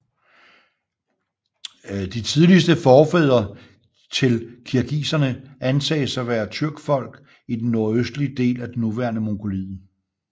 De tidligste forfædre til kirgiserne antages at være tyrkfolk i den nordøstlige del af det nuværende Mongoliet